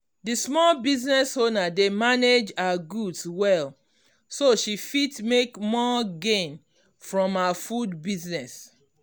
the small business owner dey manage her goods well so she fit make more gain from her food business.